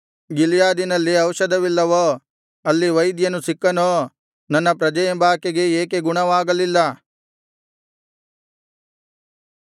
ಗಿಲ್ಯಾದಿನಲ್ಲಿ ಔಷಧವಿಲ್ಲವೋ ಅಲ್ಲಿ ವೈದ್ಯನು ಸಿಕ್ಕನೋ ನನ್ನ ಪ್ರಜೆಯೆಂಬಾಕೆಗೆ ಏಕೆ ಗುಣವಾಗಲಿಲ್ಲ